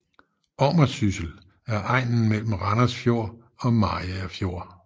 Ommersyssel er egnen mellem Randers Fjord og Mariager Fjord